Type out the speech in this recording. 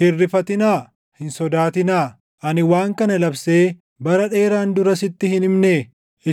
Hin rifatinaa; hin sodaatinaa. Ani waan kana labsee bara dheeraan dura sitti hin himnee?